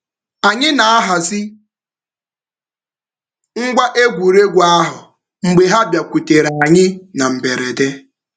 Anyị na-ahazi ngwa egwuregwu ahụ mgbe ha bịakwutere anyị na mberede.